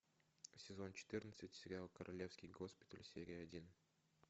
сезон четырнадцать сериал королевский госпиталь серия один